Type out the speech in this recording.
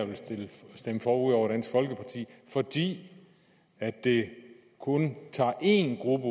vil stemme for ud over dansk folkeparti fordi det kun tager én gruppe